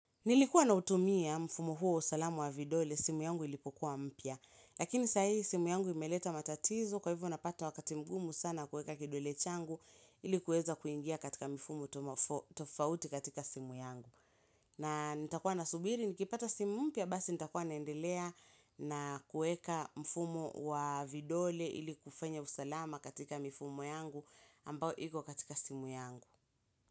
Nilikuwa nautumia mfumo huo wa usalama wa vidole, simu yangu ilipokuwa mpya. Lakini sahi simu yangu imeleta matatizo kwa hivyo napata wakati mgumu sana kueka kidole changu ili kuweza kuingia katika mifumo tofauti katika simu yangu. Na nitakuwa na subiri, nikipata simu mpya, basi nitakuwa naendelea na kueka mfumo wa vidole ili kufanya usalama katika mifumo yangu ambao iko katika simu yangu.